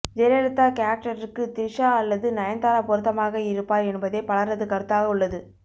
ஜெயலலிதா கேரக்டருக்கு த்ரிஷா அல்லது நயன்தாரா பொருத்தமாக இருப்பார் என்பதே பலரது கருத்தாக உள்ளது